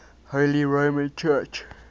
holy roman church